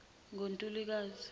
ngontulukazi